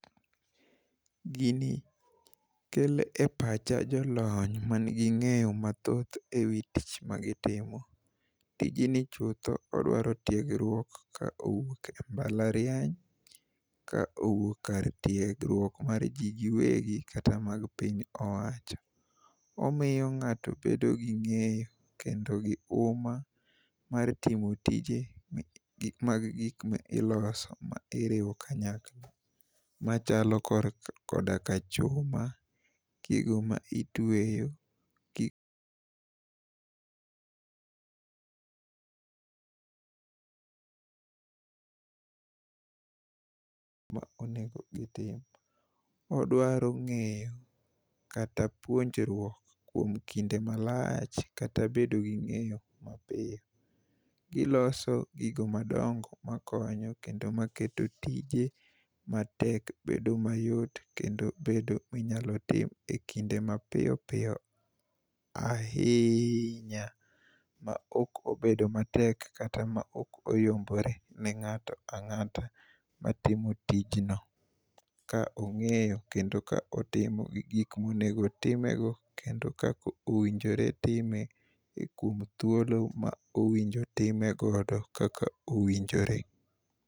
Gini kelo e pacha jolony mangi ng'eyo mathoth e wi tich magitimo. Tijni chutho odwaro tiegruok ka owuok e mbalariany ka owuok kar tiegruok mar ji giwegi kata mag piny owacho. Omiyo ng'ato bedo gi ng'eyo kendo to gi uma mar timo tije mag gik mag gik ma iloso ma iriwo kanyakla machalo koda ka chuma, gigo ma itweyo ma onego gitim. Odwaro ng'eyo kata puonjruok kuom kinde malach kata bedo gi ng'eyo mapiyo. Giloso gigo madongo makonyo kendo maketo tije matek bedo mayot kendo bedo manyalo tim e kinde mapiyo piyo ahinya, ma ok obedo matek kata ma ok oyombore ne ng'ato ang'ata matimo tijno ka ong'eyo kendo ka otimo gi gik monego timego kendo kaka owinjore time e kuom thuolo ma owinjo timegodo kaka owinjore.